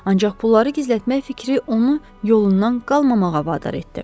Ancaq pulları gizlətmək fikri onu yolundan qalmamağa vadar etdi.